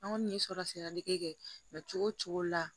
An kɔni ye sɔrɔ sira dege kɛ cogo o cogo la